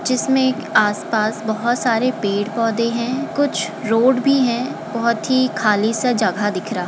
जिसमें एक आस-पास बहोत सारे पड़े पौधे हैं कुछ रोड भी हैं बहोत ही खाली सा जगह दिख रहा --